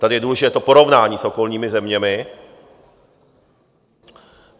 Tady je důležité to porovnání s okolními zeměmi.